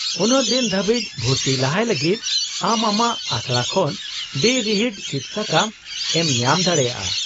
-ᱩᱱᱟᱹᱜ ᱫᱤᱱ ᱫᱷᱟᱹᱵᱤᱡ, ᱵᱷᱩᱨᱛᱤ ᱞᱟᱦᱟᱭ ᱞᱟᱹᱜᱤᱫ , ᱟᱢ ᱟᱢᱟᱜ ᱟᱥᱲᱟ ᱠᱷᱚᱱ ᱵᱮᱼᱨᱤᱦᱤᱴ ᱥᱤᱫᱥᱟᱠᱟᱢ ᱮᱢ ᱧᱟᱢ ᱫᱟᱲᱮᱭᱟᱜᱼᱟ ᱾